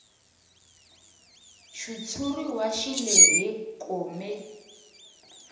xitshuriwa xi lehe kome